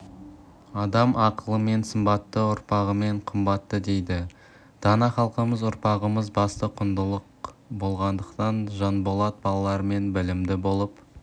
адам ақылымен сымбатты ұрпағымен қымбатты дейді дана халқымыз ұрпағымыз басты құндылық болғандықтан жанболат балаларым білімді болып